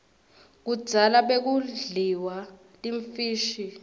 kudzala bekudliwa timfishi kuiesive